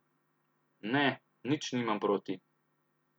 Ne, nič nimam proti.